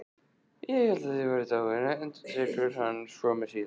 Ég hélt þið væruð dáin, endurtekur hann skömmu síðar.